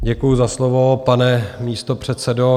Děkuji za slovo, pane místopředsedo.